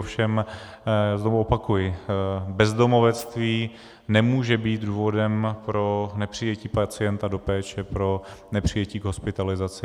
Ovšem znovu opakuji, bezdomovectví nemůže být důvodem pro nepřijetí pacienta do péče, pro nepřijetí k hospitalizaci.